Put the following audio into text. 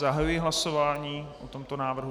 Zahajuji hlasování o tomto návrhu.